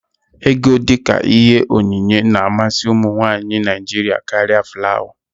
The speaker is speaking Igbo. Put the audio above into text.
Égo, dịka ihe onyinye na-amasị ụmụnwaanyị Naịjiria karịa flawa.